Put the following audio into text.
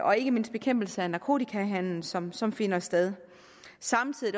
og ikke mindst bekæmpelse af narkotikahandel som som finder sted samtidig